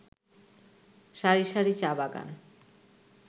সারি সারি চা-বাগান